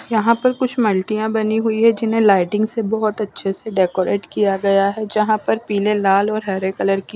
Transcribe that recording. यहाँ पर कुछ मलतिया बनी हुई हैं जिन्हें लाइटिंग से बहोत अच्छे से डेकोरेट किया गया हैं जहा पर पिले लाल और हरे कलर कि ---